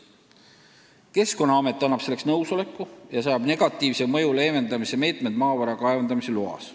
Keskkonnaamet annab selleks nõusoleku ja seab negatiivse mõju leevendamise meetmed maavara kaevandamise loas.